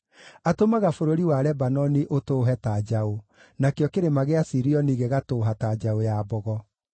Atũmaga bũrũri wa Lebanoni ũtũũhe ta njaũ, nakĩo Kĩrĩma gĩa Sirioni gĩgatũũha ta njaũ ya mbogo.